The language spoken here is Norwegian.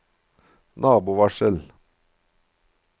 nabovarsel